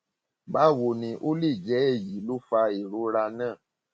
báwo ni o ó lè jẹ èyí ló fa ìrora náà